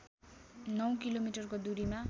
नौ किलोमिटरको दूरीमा